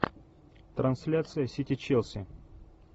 трансляция сити челси